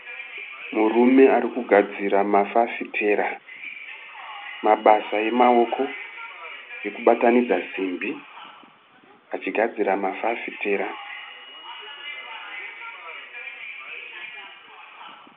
Murume arikugadzira mafafitera. Mabasa emaoko ekubatanidza simbi achigadzira mafafitera.